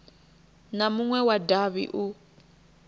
na munwe wa davhi u